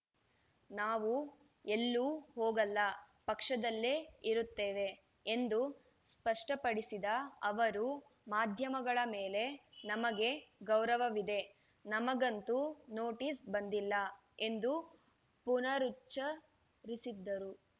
ನಾವು ಎಲ್ಲೂ ಹೋಗಲ್ಲ ಪಕ್ಷದಲ್ಲೇ ಇರುತ್ತೇವೆ ಎಂದು ಸ್ಪಷ್ಟಪಡಿಸಿದ ಅವರು ಮಾಧ್ಯಮಗಳ ಮೇಲೆ ನಮಗೆ ಗೌರವವಿದೆ ನಮಗಂತೂ ನೋಟಿಸ್ ಬಂದಿಲ್ಲ ಎಂದು ಪುನರುಚ್ಚ ರಿಸಿದರು